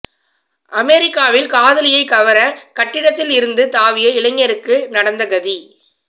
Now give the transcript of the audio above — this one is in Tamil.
அமெரிக்காவில் காதலியை கவர கட்டிடத்தில் இருந்து தாவிய இளைஞருக்கு நடந்த கதி